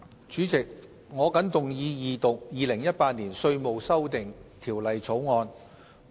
主席，我謹動議二讀《2018年稅務條例草案》。